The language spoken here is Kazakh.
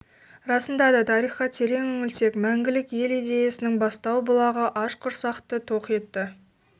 расында да тарихқа терең үңілсек мәңгілік елидеясының бастау бұлағы аш құрсақты тоқ етті